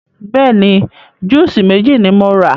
Bẹ́ẹ̀ni, júùsí méjì ni mo rà.